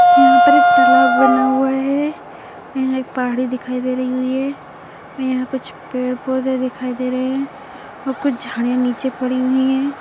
यहाँ पर एक तालाब बना हुआ है यहाँ एक पहाड़ी दिखाई दे रही हुई है यहाँ कुछ पेड़-पौधे दिखाई दे रहे हैं और कुछ झाड़ियाँ नीचे पड़ी हुई हैं।